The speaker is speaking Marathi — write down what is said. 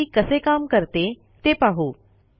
सीएमपी कसे काम करते ते पाहू